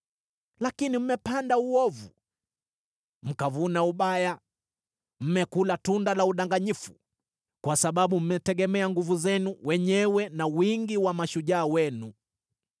Lakini mmepanda uovu, mkavuna ubaya, mmekula tunda la udanganyifu. Kwa sababu mmetegemea nguvu zenu wenyewe na wingi wa mashujaa wenu,